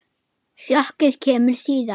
Sjokkið kemur síðar.